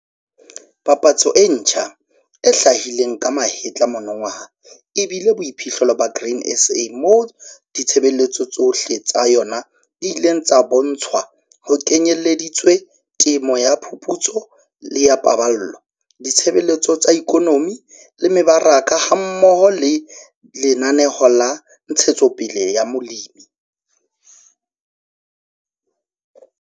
Papatso e ntjha, e hlahileng ka mahetla monongwaha e bile boiphihlelo ba Grain SA moo ditshebeletso tsohle tsa yona di ileng tsa bontshwa ho kenyeleditswe Temo ya Phuputso le ya Paballo, Ditshebeletso tsa Ikonomi le Mebaraka hammoho le Lenaneo la Ntshetspele ya Molemi.